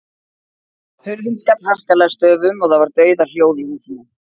Hurðin skall harkalega að stöfum og það var dauðahljóð í húsinu.